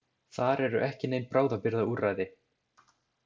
Þar eru ekki nein bráðabirgðaúrræði.